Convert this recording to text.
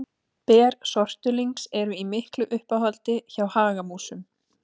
Ber sortulyngs eru í miklu uppáhaldi hjá hagamúsum.